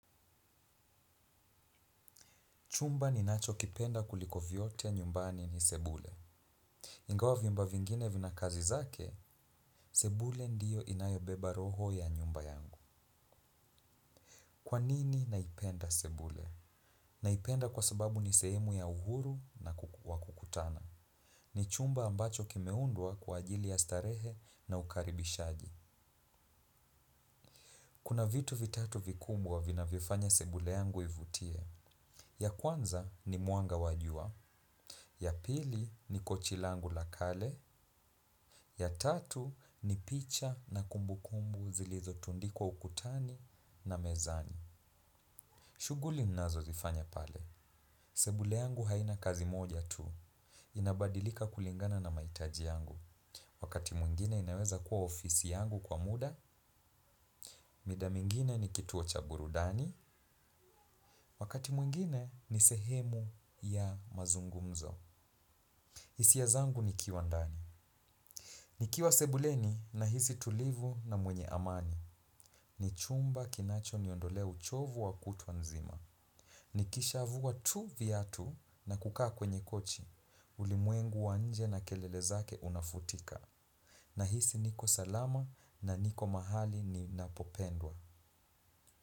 Chumba ninachokipenda kuliko vyote nyumbani ni sebule. Ingawa vyumba vingine vina kazi zake, sebule ndiyo inayobeba roho ya nyumba yangu. Kwa nini naipenda sebule? Naipenda kwa sababu ni sehemu ya uhuru na kukutana. Ni chumba ambacho kimeundwa kwa ajili ya starehe na ukaribishaji. Kuna vitu vitatu vikubwa vinavyofanya sebule yangu ivutie. Ya kwanza ni muanga wajua. Ya pili ni kochi langu la kale. Ya tatu ni picha na kumbukumbu zilizotundikwa ukutani na mezani. Shughuli ninazozifanya pale. Sebule yangu haina kazi moja tu. Inabadilika kulingana na maitaji yangu. Wakati mwingine inaweza kuwa ofisi yangu kwa muda. Mida mingine ni kituo cha burudani. Wakati mwingine ni sehemu ya mazungumzo. Hisia zangu nikiwa ndani. Nikiwa sebuleni nahisi tulivu na mwenye amani. Ni chumba kinachoniondolea uchovu wa kutwa nzima nikishavua tu viatu na kukaa kwenye kochi ulimwengu wa nje na kelele zake unafutika. Nahisi niko salama na niko mahali ninapopendwa.